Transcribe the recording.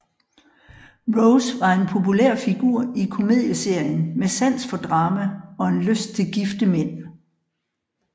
Rose var en populær figur i komedieserien med sans for drama og en lyst til gifte mænd